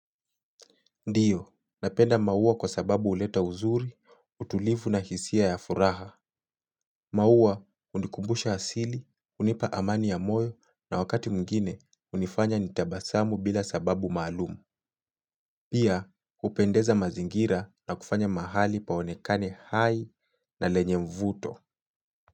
Ndiyo, napenda maua kwa sababu huleta uzuri, utulivu na hisia ya furaha. Maua, hunikumbusha asili, hunipa amani ya moyo na wakati mwingine hunifanya nitabasamu bila sababu maalumu. Pia, hupendeza mazingira na kufanya mahali paonekane hai na lenye mvuto.